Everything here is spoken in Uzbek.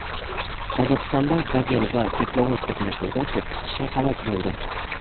Qozog‘istonda "Gazel" va teplovoz to‘qnashuvida to‘qqiz kishi halok bo‘ldi.